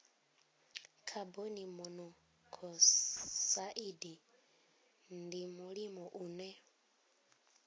khaboni monokosaidi ndi mulimo une